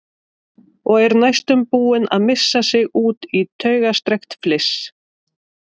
Og er næstum búin að missa sig út í taugastrekkt fliss.